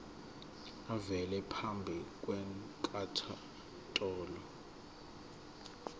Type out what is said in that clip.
avele phambi kwenkantolo